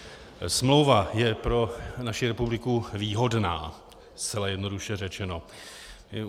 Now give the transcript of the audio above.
Smlouva je pro naši republiku výhodná, zcela jednoduše řečeno.